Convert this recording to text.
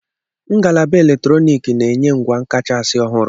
Ngalaba eletrọnịkị na-enye ngwa kachasị ọhụrụ.